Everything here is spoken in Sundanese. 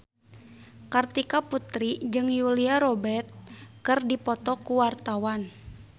Kartika Putri jeung Julia Robert keur dipoto ku wartawan